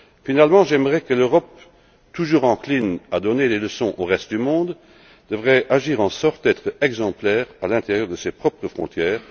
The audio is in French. Finalement, j'aimerais que l'Europe, toujours encline à donner des leçons au reste du monde, fasse en sorte d'être exemplaire à l'intérieur de ses propres frontières.